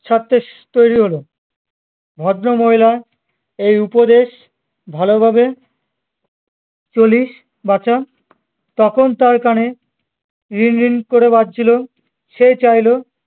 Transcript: ছাড়তে তৈরী হলো ভদ্রমহিলার এই উপদেশ ভালোভাবে চলিস বাছা তখন তার কানে রিং রিং করে বাজছিল সে চাইল